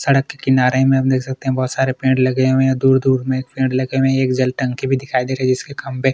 सड़क के किनारे मे हम देख सकते हैं बहोत सारे पेड़ लगे हुए हैं दूर-दूर मे एक पेड़ लगे हुए हैं एक जल टंकी भी दिखाई दे रही हैं जिसके खंभे--